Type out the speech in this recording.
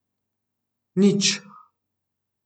Nič.